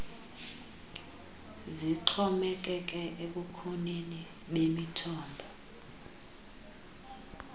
zixhomekeke ebukhoneni bemithombo